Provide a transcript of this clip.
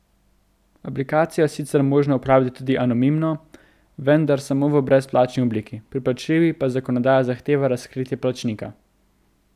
Aplikacijo je sicer možno uporabljati tudi anonimno, vendar samo v brezplačni obliki, pri plačljivi pa zakonodaja zahteva razkritje plačnika.